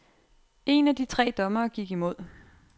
En af de tre dommere gik imod.